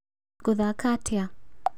Ngũthakaga atĩa?